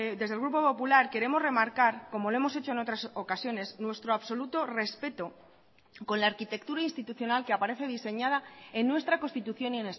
desde el grupo popular queremos remarcar como lo hemos hecho en otras ocasiones nuestro absoluto respeto con la arquitectura institucional que aparece diseñada en nuestra constitución y